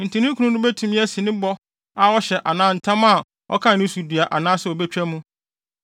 Enti ne kunu no betumi asi ne bɔ a ɔhyɛ anaa ntam a ɔka no so dua anaasɛ obetwa mu.